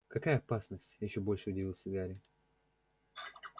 какая опасность ещё больше удивился гарри